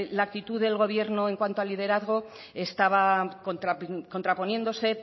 la actitud del gobierno en cuanto a liderazgo estaba contraponiéndose